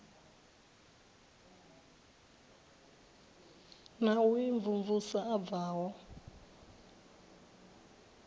na u imvumvusa a bvaho